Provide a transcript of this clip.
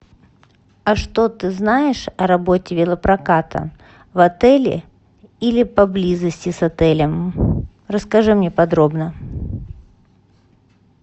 а что ты знаешь о работе велопроката в отеле или поблизости с отелем расскажи мне подробно